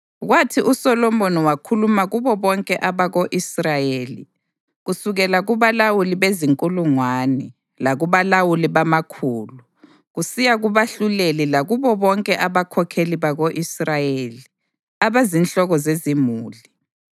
Kwathi uSolomoni wakhuluma kubo bonke abako-Israyeli kusukela kubalawuli bezinkulungwane labalawuli bamakhulu, kusiya kubahluleli lakubo bonke abakhokheli bako-Israyeli, abazinhloko zezimuli